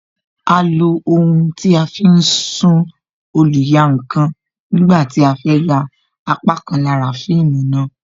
A lo ohun tí a fi ń sún oluyankan nígbà tí a fẹ ya apá kan lára fíìmù náà